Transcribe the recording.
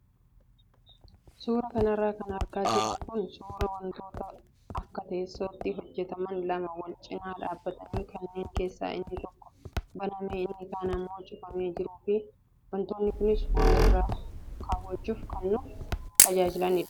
Suuraa kanarra kan argaa jirru kun suuraa wantoota akka teessootti hojjataman lama wal cinaa dhaabbatan kanneen keessaa inni tokko banamee inni kaan immoo cufamee jiruu fi wantoonni kunis waa irra kaawwachuuf kan nu tajaajilanidha.